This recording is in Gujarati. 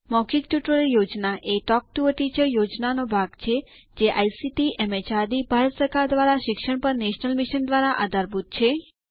મૌખિક ટ્યુટોરીયલ પ્રોજેક્ટ એ ટોક ટુ અ ટીચર પ્રોજેક્ટનો ભાગ છેજે આઇસીટીએમએચઆરડીભારત સરકાર દ્વારા શિક્ષણ પર નેશનલ મિશન દ્વારા આધારભૂત છે